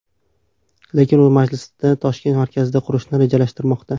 Lekin u masjidni Toshkent markazida qurishni rejalashtirmoqda.